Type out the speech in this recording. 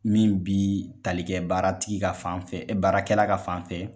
Min bi talikɛ baara tigi ka fanfɛ, baarakɛla ka fanfɛ